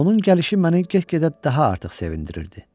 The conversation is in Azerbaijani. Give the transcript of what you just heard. Onun gəlişi məni get-gedə daha artıq sevindirirdi.